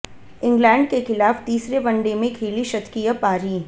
England के खिलाफ तीसरे वनडे में खेली शतकीय पारी